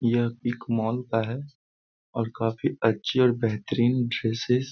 यह इक मॉल का है और काफी अच्छी और बेहतरीन ड्रेसीस --